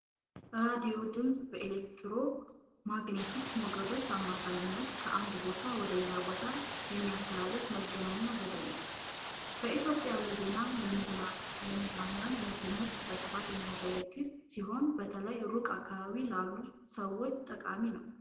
ራዲዮ ድምፅን በኤሌክትሮማግኔቲክ ሞገዶች አማካኝነት ከአንድ ቦታ ወደ ሌላ ቦታ የሚያስተላልፍ የመገናኛ ዘዴ ነው። በኢትዮጵያ ለዜና፣ ለመዝናኛና ለትምህርት በስፋት የሚያገለግል ሲሆን፣ በተለይ ሩቅ አካባቢዎች ላሉ ሰዎች ጠቃሚ ነው።